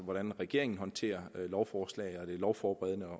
hvordan regeringen håndterer lovforslag det lovforberedende og